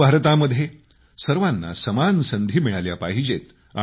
नव भारतामध्ये सर्वांना समान संधी मिळाल्या पाहिजेत